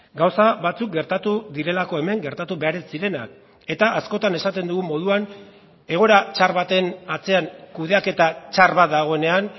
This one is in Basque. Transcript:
gauza batzuk gertatu direlako hemen gertatu behar ez zirenak eta askotan esaten dugun moduan egoera txar baten atzean kudeaketa txar bat dagoenean